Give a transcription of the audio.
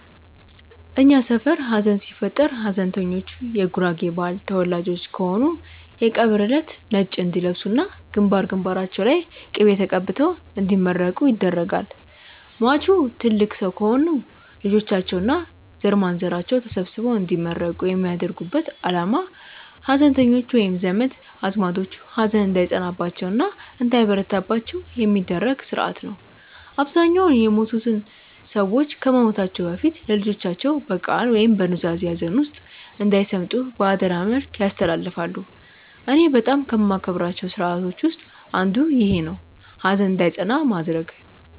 እኛ ሰፈር ሀዘን ሲፈጠር ሀዘንተኞቹ የጉራጌ ባህል ተወላጆች ከሆኑ የቀብር እለት ነጭ እንዲለብሱ እና ግንባር ግንባራቸው ላይ ቅቤ ተቀብተው እንዲመረቁ ይደረጋል። ሟቹ ትልቅ ሰው ከሆኑ ልጆቻቸው እና ዘርማንዘራቸው ተሰብስበው እንዲመረቁ የሚያደርጉበት አላማ ሀዘንተኞቹ ወይም ዘመድ አዝማዶቹ ሀዘን እንዳይጸናባቸው እና እንዳይበረታባቸው የሚደረግበት ስርአት ነው። አብዛኛውን የሞቱት ሰዎች ከመሞታቸው በፊት ለልጆቻቸው በቃል ወይም በኑዛዜ ሀዘን ውስጥ እንዳይሰምጡ በአደራ መልክ ያስተላልፋሉ። እኔ በጣም ከማከብራቸው ስርአቶች ውስጥ አንዱ ይኼ ነው፣ ሀዘን እንዳይጸና ማድረግ።